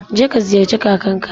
Je ka ziyarci kakanka.